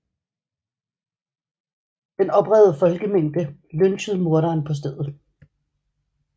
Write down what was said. Den oprevede folkemængde lynchede morderen på stedet